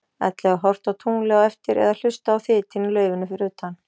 Ellegar horft á tunglið á eftir eða hlustað á þytinn í laufinu fyrir utan?